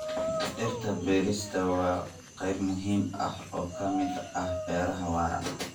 Dhirta beerista waa qayb muhiim ah oo ka mid ah beeraha waara.